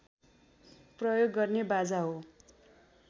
प्रयोग गर्ने बाजा हो